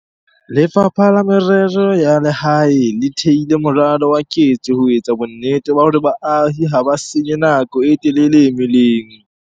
Lefapha la Merero ya Lehae le theile moralo wa ketso ho etsa bonnete ba hore baahi ha ba senye nako e telele meleng.